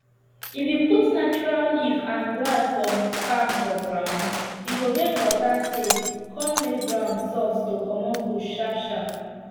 if you put natural leaf and grass from farm for ground e go make water stay con make ground soft to comot bush sharp sharp